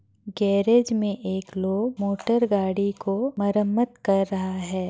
Garage में एक लोग मोटरगाडी को मरम्मत कर रहा है।